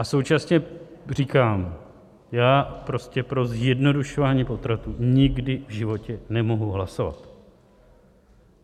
A současně říkám: já prostě pro zjednodušování potratů nikdy v životě nemohu hlasovat.